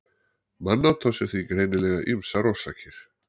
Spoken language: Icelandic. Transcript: mannát á sér því greinilega ýmsar orsakir